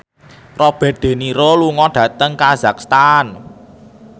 Robert de Niro lunga dhateng kazakhstan